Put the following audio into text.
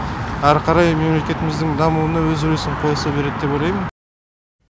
әрі қарай мемлекетіміздің дамуына өз үлесін қоса береді деп ойлаймын